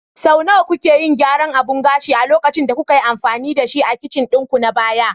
Sau nawa kuke yin gyaran abun gashin a lokacin da kuka yi amfani da shi a kicin ɗinku na baya?